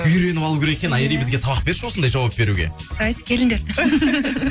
үйреніп алу керек екен айри бізге сабақ берші осындай жауап беруге давайте келіңдер